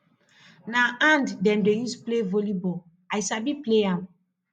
na hand dem dey use play vollyball i sabi play am